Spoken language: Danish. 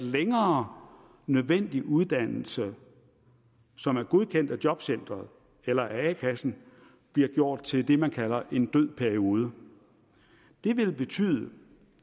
at længere nødvendig uddannelse som er godkendt af jobcenteret eller af a kassen bliver gjort til det man kalder en død periode det vil betyde